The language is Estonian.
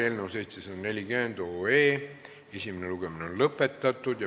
Eelnõu 740 esimene lugemine on lõpetatud.